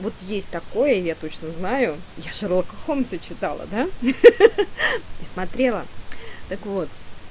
вот есть такое я точно знаю я шерлока холмса читала да ха ха ха и смотрела так вот